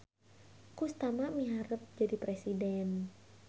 Kustama miharep jadi presiden